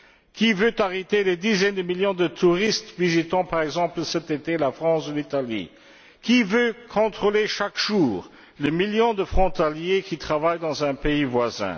Qui veut arrêter les dizaines de millions de touristes qui visiteront, par exemple, cet été la France ou l'Italie? Qui veut contrôler chaque jour le million de frontaliers qui travaillent dans un pays voisin?